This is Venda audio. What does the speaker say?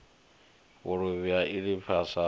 vhuluvhi ya lifhasini u ya